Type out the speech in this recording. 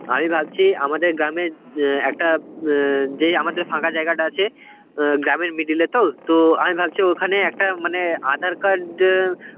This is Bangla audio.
আমি ভাবছি আমাদের গ্রামে অ্যাঁ একটা অ্যাঁ যে আমাদের ফাঁকা জায়গাটা আছে অ্যাঁ গ্রামের middle এ তো, তো আমি ভাবছি ওখানেই একটা মানে aadhar card অ্যাঁ